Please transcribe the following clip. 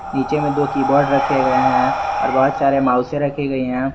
नीचे में दो कीबोर्ड रखे गए हैं और बहुत सारे माउसे रखे गए हैं।